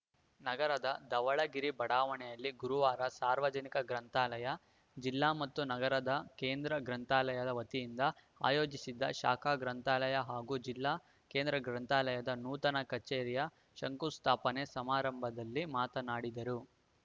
ನಗರದ ಧವಳಗಿರಿ ಬಡಾವಣೆಯಲ್ಲಿ ಗುರುವಾರ ಸಾರ್ವಜನಿಕ ಗ್ರಂಥಾಲಯ ಜಿಲ್ಲಾ ಮತ್ತು ನಗರದ ಕೇಂದ್ರ ಗ್ರಂಥಾಲಯದ ವತಿಯಿಂದ ಆಯೋಜಿಸಿದ್ದ ಶಾಖಾ ಗ್ರಂಥಾಲಯ ಹಾಗು ಜಿಲ್ಲಾ ಕೇಂದ್ರ ಗ್ರಂಥಾಲಯದ ನೂತನ ಕಚೇರಿಯ ಶಂಕುಸ್ಥಾಪನೆ ಸಮಾರಂಭದಲ್ಲಿ ಮಾತನಾಡಿದರು